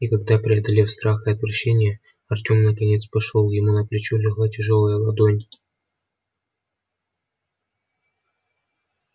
и когда преодолев страх и отвращение артём наконец пошёл ему на плечо легла тяжёлая ладонь